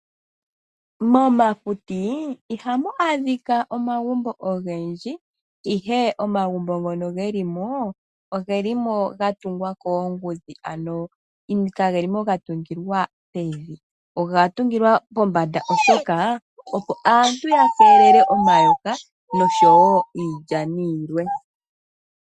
Momakuti ihamu adhika omagumbo ogendji , ihe omagumbo ngono geli mo ogatungwa koongudhi, ano kage limo gatungilwa pevi, oga tungilwa tungilwa pombanda opo aantu yakeelele omayoka niilyani yilwe.